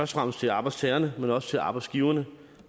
fremmest til arbejdstagerne men også til arbejdsgiverne